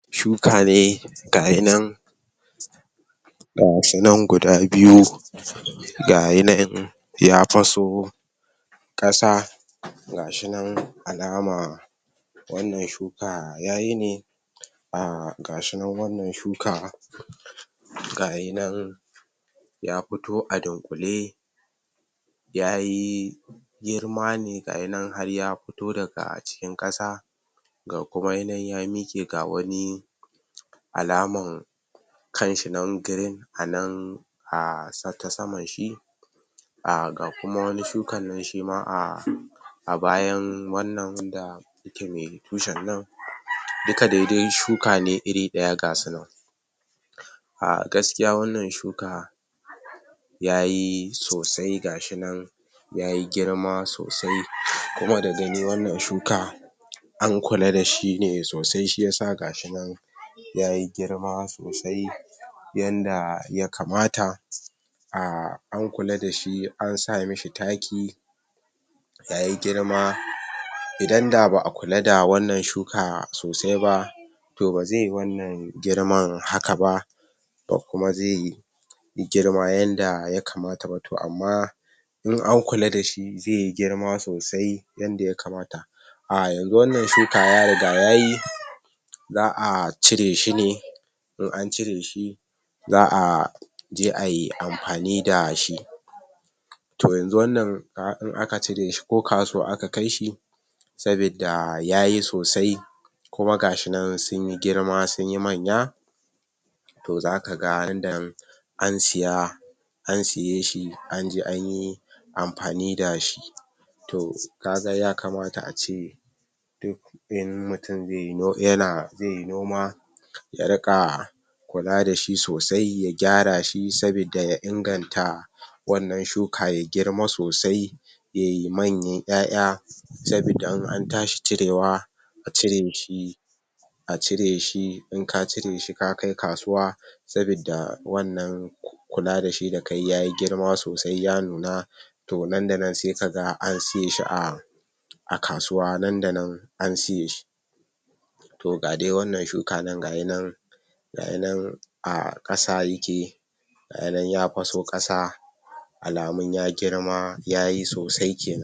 Shuka ne ga yi nan ga shi nan guda biyu, ga yi nan ya faso kasa ga shi nan alama wannan shuka ya yi ne ah ga shi nan wannan shuka ga yi nan ya fito a dunƙule ya yi girma ne ga yi nan har ya fito daga cikin kasa ga kuma yi nan ya miƙe ga wane alaman kanshi nan green a nan a ta saman shi ah ga kuma wani shuka nan shima a a bayan wannan wanda yake mai tushan nan, duka dai shuka ne iri ɗaya ga su nan, ah. Gaskiya wannan shuka ya yi sosai ga shi nan ya yi girma sosai kuma da gani wannan shuka an kula da shi ne sosai shi ya sa ga shi nan ya yi girma sosai yanda ya kamata ah an kula da shi an sami shi taki, ya yi girma, idan da ba a kula da wannan shuka sosai ba, toh ba zai yi wannan girman haka ba, ba kuma zai yi girma yanda yakamata ba, toh amma in an kula da shi zai yi girma sosai yanda ya kamata ah yanzu wannan shuka ya riga ya yi, za a cire shi ne, in an cire shi za a je a yi amfani da shi. To yanzu wannan ah in a ka cire shi ko kasuwa aka kai shi sabida ya yi sosai kuma ga shi nan sun yi girma sun yi manya, to za ka ga idan an siya an siya shi an je an yi amfani da shi, toh ka ga ya kamata a ce duk in mutum zai yana zai yi noma ya rika kula dashi sosai ya gyara shi sabida ya inganta wannan shuka ya girma sosai ya yi manyan ƴaƴa sabida in an tashi cirewa, a cire shi a cire shi, in ka cire shi ka kai kasuwa sabida wannan kula da shi da ka yi ya yi girma sosai ya nuna, to nan da nan sai ka ga an siye shi a a kasuwa nan da nan an siye shi. To ga dai wannan shuka nan ga yin nan ga yi nan a ƙasa yake ga yi nan ya faso ƙasa alamun ya girma ya yi sosai.